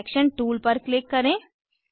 selection tool पर click करें